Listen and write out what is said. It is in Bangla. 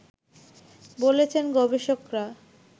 বলেছেন গবেষকরা